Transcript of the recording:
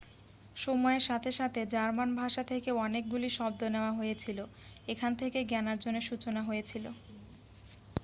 সময়ের সাথে সাথে জার্মান ভাষা থেকে অনেকগুলি শব্দ নেওয়া হয়েছিল এখান থেকে জ্ঞানার্জনের সূচনা হয়েছিল